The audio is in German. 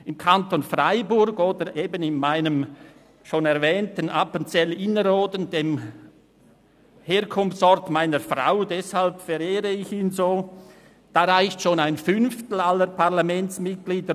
Im Kanton Freiburg oder im Herkunftskanton meiner Frau, Appenzell Innerrhoden, den ich deshalb so verehre, reicht schon ein Fünftel aller Parlamentsmitglieder;